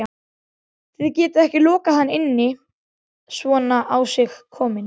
Þið getið ekki lokað hann inni svona á sig kominn